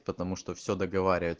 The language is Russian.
потому что все договари